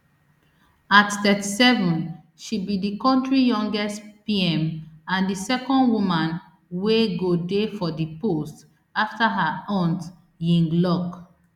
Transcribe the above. at thirty-seven she be di kontri youngest pm and di second woman wey go dey for di post afta her aunt yingluck